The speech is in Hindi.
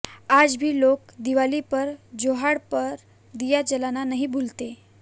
आज भी लोग दिवाली पर जोहड़ पर दिया जलाना नहीं भूलते